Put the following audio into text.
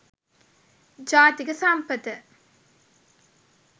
jathika sampatha